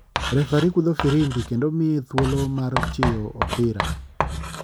Refari kudho firimbi kendo miye thuolo mar chiyo opira.